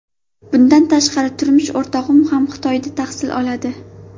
Bundan tashqari, turmush o‘rtog‘im ham Xitoyda tahsil oladi.